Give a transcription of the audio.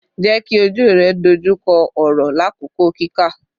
Jeki oju rẹ dojukọ ọrọ lakoko kika